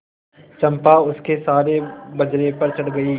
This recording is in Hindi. चंपा उसके सहारे बजरे पर चढ़ गई